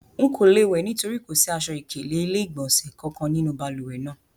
Nko le wẹ nitori ko si aṣọ-ikele ile-igbọnsẹ kankan ninu baluwe naa